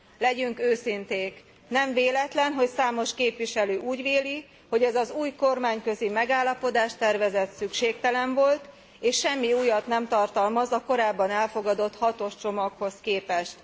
Legyünk őszinték nem véletlen, hogy számos képviselő úgy véli, hogy ez az új kormányközi megállapodástervezet szükségtelen volt, és semmi újat nem tartalmaz a korábban elfogadott hatos csomaghoz képest.